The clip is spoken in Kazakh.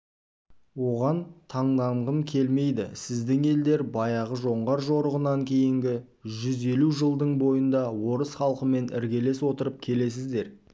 оған таңданғым келмейді сіздің елдер баяғы жоңғар жорығынан кейінгі жүз елу жылдың бойында орыс халқымен іргелес отырып келесіздер